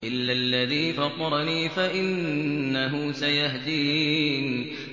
إِلَّا الَّذِي فَطَرَنِي فَإِنَّهُ سَيَهْدِينِ